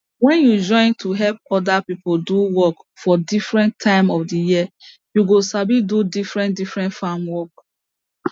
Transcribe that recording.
when you join to help other people do work for different time of the year you go sabi do different different farm work